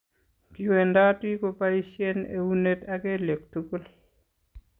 Kiwendoti kobaisien eunet ak kelyek tukul.